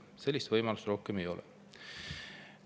Teist sellist võimalust ei ole.